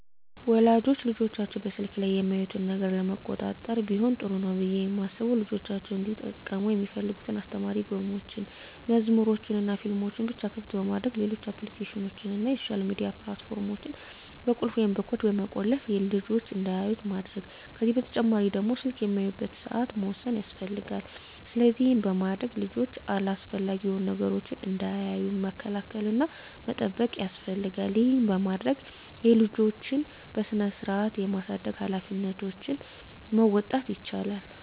ወላጆች ልጆቻቸው በስልክ ላይ የሚያዩትን ነገር ለመቆጣጠር ቢሆን ጥሩ ነው ብየ ማስበው ልጆቻቸው እንዲጠቀሙ ሚፈልጉትን አስተማሪ ጌሞችን፣ መዝሙሮችንናፊልሞችን ብቻ ክፍት በማድረግ ሌሎች አፕሊኬሽኖችን እና የሶሻል ሚዲያ ፕላት ፎርሞችን በቁልፍ ወይም በኮድ በመቆለፍ ልጅች እንዳያዩት ማድረግ ከዚህ በተጨማሪ ደግሞ ስልክ የሚያዩበትን ሰአት መወሰን ያስፈልጋል። ስለዚህ ይህን በማድረግ ልጆች አላስፈላጊ የሆኑ ነገሮችን እንዳያዩ መከላከል እና መጠበቅ ያስፈልጋል ይህን በማድረግ የልጆችን በስርአት የማሳደግ ሀላፊነቶችን መወጣት ይቻላል።